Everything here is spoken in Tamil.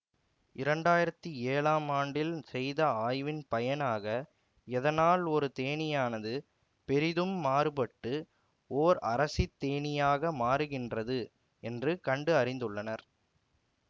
இரண்டாயிரத்தி ஏழாம் ஆண்டில் செய்த ஆய்வின் பயனாக எதனால் ஒரு தேனீயானது பெரிதும் மாறுபட்ட ஓர் அரசித் தேனீயாக மாறுகின்றது என்று கண்டு அறிந்துள்ளனர்